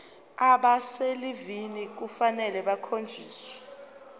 abaselivini kufanele bakhonjiswe